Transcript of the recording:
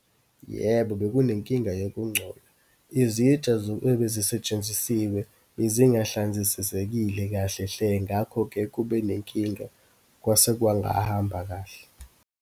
Yebo, bekunenkinga yokungcolo. Izitsha ebezisetshenzisiwe bezingahlanzisisekile kahle hle. Ngakho-ke kube nenkinga, kwase kwangahamba kahle.